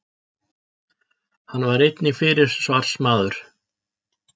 Hann var einnig fyrirsvarsmaður